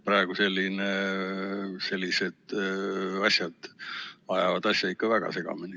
Praegu on see asi ikka väga segamini.